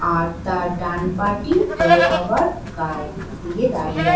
আর তার ডান পাটি ভোলে বাবার গায়ে দিয়ে দাঁড়িয়ে আ--